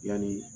Yani